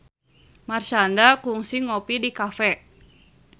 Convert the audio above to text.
Marshanda kungsi ngopi di cafe